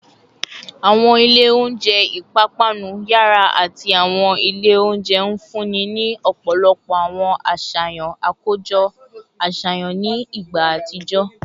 Awọn ilẹ ounjẹ ipapanu yara ati awọn ile ounjẹ nfunni ni ọpọlọpọ awọn aṣayan akojọ aṣayan ni igba atijọ